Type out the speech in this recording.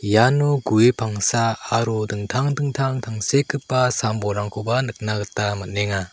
iano gue pangsa aro dingtang dingtang tangsekgipa sam-bolrangkoba nikna gita man·enga.